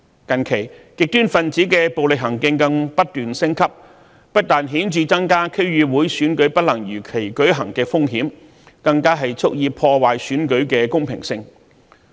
近期極端分子的暴力行徑更不斷升級，不但顯著增加區議會選舉不能如期舉行的風險，更蓄意破壞選舉的公平性。